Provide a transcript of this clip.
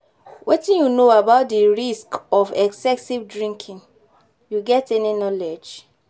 Wetin you know about di risks of excessive drinking, you get any knowledge?